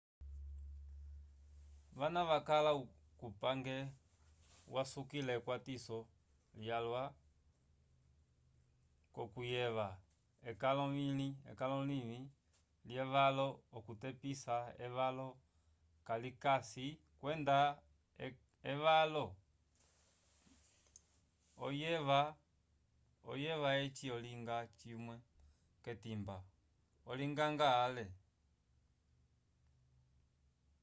vana vakala kupange vasukila ekwatiso lyalwa k'okuyeva ekalo livĩ lyevalo okutepisa evalo kalikayi kwenda evalo oyeva eci olinga cimwe k'etimba olinganga ale